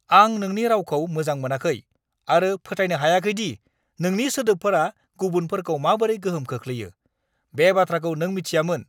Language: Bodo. आं नोंनि रावखौ मोजां मोनाखै आरो फोथायनो हायाखै दि नोंनि सोदोबफोरा गुबुनफोरखौ माबोरै गोहोम खोख्लैयो, बे बाथ्राखौ नों मिथियामोन!